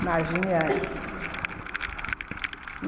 Imagina antes.